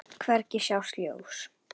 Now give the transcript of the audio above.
Hvergi sást ljós.